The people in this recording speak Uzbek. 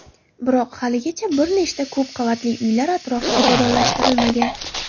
Biroq haligacha bir nechta ko‘p qavatli uylar atrofi obodonlashtirilmagan.